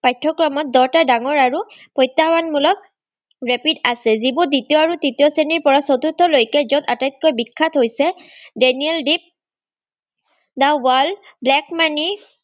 পাঠ্যক্ৰমত দহটা ডাঙৰ আৰু প্ৰত্যাহবানমূলক rapid আছে, যিবোৰ দ্বিতীয় আৰু তৃতীয় শ্ৰেণীৰপৰা চতুৰ্থলৈকে আটাইতকৈ বিখ্যাত হৈছে ডেনিয়েল দ্বীপ, নাওৱাল, black-money